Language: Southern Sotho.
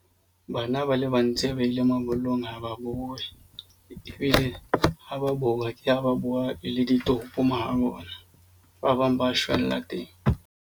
Bana ba le ba ntse ba ile mabollong ha ba boe. Ebile ha ba boa ba bua le ditopo mo ho bona ba bang ba shwella teng.